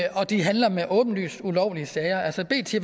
de handler med åbenlyst ulovlige sager altså bt